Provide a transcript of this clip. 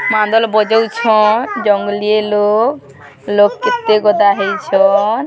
ମାନ୍ଦଲ ବଜଉଛନ ଜଙ୍ଗଲିଏ ଲୋକ ଲୋକ କେତେ ଗଦା ହେଇଛନ ।